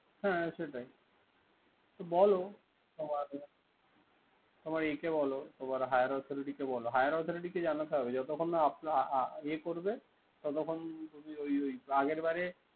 হ্যা সেটাই। তো বল। তোমার একে higher authority কে বল। higher authority জানাতে হবে।